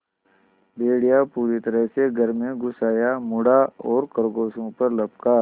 भेड़िया पूरी तरह से घर में घुस आया मुड़ा और खरगोशों पर लपका